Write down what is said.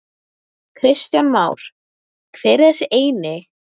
Kristján Már: Hver er þessi eini?